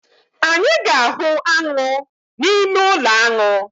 Anyị ga-ahụ aṅụ n’ime ụlọaṅụ